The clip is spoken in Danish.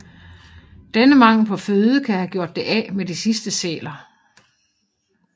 Denne mangel på føde kan have gjort det af med de sidste sæler